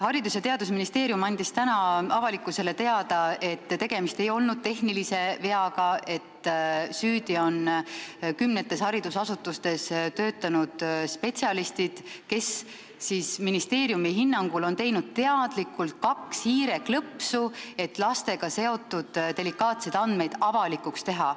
Haridus- ja Teadusministeerium andis täna avalikkusele teada, et tegemist ei olnud tehnilise veaga, vaid süüdi on kümnetes haridusasutustes töötanud spetsialistid, kes ministeeriumi hinnangul on teinud teadlikult kaks hiireklõpsu, et lastega seotud delikaatseid andmeid avalikuks teha.